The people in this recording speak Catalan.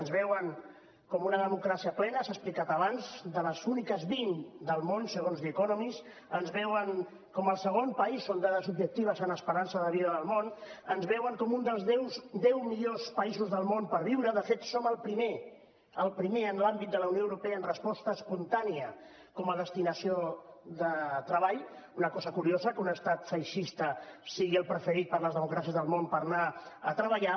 ens veuen com una democràcia plena s’ha explicat abans de les úniques vint del món segons the economist ens veuen com el segon país són dades objectives en esperança de vida del món ens veuen com un dels deu millors països del món per viure·hi de fet som el primer el primer en l’àmbit de la unió europea en resposta espontània com a destinació de treball una cosa cu·riosa que un estat feixista sigui el preferit per les democràcies del món per anar·hi a treballar